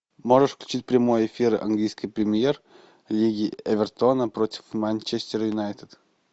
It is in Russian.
можешь включить прямой эфир английской премьер лиги эвертона против манчестер юнайтед